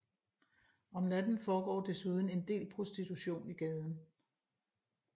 Om natten foregår desuden en del prostitution i gaden